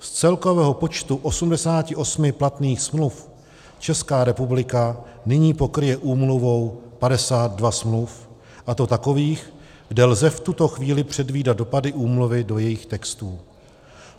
Z celkového počtu 88 platných smluv Česká republika nyní pokryje úmluvou 52 smluv, a to takových, kde lze v tuto chvíli předvídat dopady úmluvy do jejich textů.